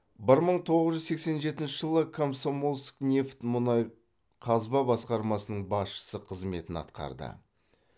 бір мың тоғыз жүз сексен жетінші жылы комсомольскнефть мұнай қазба басқармасының басшысы қызметін атқарды